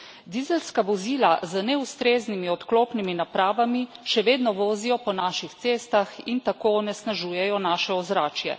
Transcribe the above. Dizelska vozila z neustreznimi odklopnimi napravami še vedno vozijo po naših cestah in tako onesnažujejo naše ozračje.